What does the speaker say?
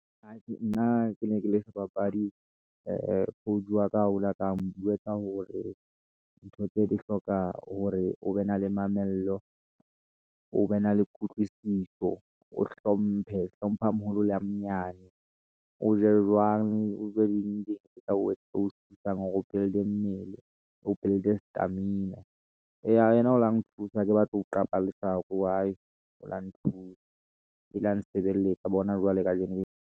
Atjhe, nna ke ne ke le sebapadi coach waka o laka ntjwetsa hore ntho tse di hloka hore o be na le mamello, o be na le kutlwisiso, o hlomphe, hlompha a maholo le a manyane, o je jwang o je eng le eng tse tla o etsa o build-e mmele o build-e stamina. Eya yena o la nthusa hake batle ho qapa leshako , o la nthusa e la nsebeletsa bona jwale kajeno.